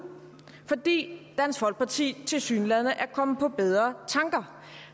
fordi dansk folkeparti tilsyneladende er kommet på bedre tanker